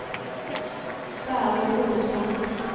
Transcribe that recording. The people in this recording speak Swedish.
Barbro Hultman